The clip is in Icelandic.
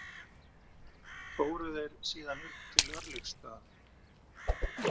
Fóru þeir síðan upp til Örlygsstaða.